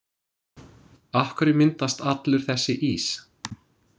Af hverju myndast allur þessi ís?